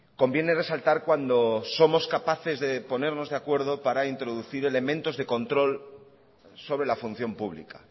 conviene resaltar cuando somos capaces de ponernos de acuerdo para introducir elementos de control sobre la función pública